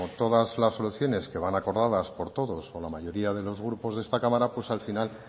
todas las soluciones que van acordadas por todos o la mayoría de los grupos de esta cámara al final